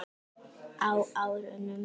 Á árunum